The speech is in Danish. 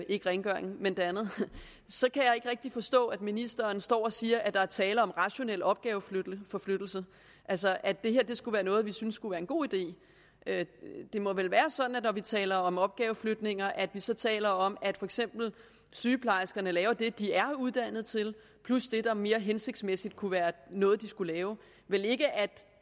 ikke rengøringen men det andet så kan jeg ikke rigtig forstå at ministeren står og siger at der er tale om rationel opgaveflytning altså at det her skulle være noget vi synes skulle være en god idé det må vel være sådan når vi taler om opgaveflytninger at vi så taler om at for eksempel sygeplejerskerne laver det de er uddannet til plus det der mere hensigtsmæssigt kunne være noget de skulle lave vel ikke at